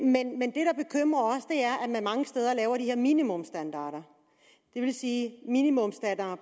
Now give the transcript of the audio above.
man mange steder laver de her minimumsstandarder det vil sige at minimumsstandarden